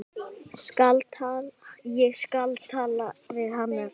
Ég skal tala við Hannes.